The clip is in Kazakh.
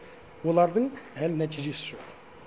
олардың әлі нәтижесі жоқ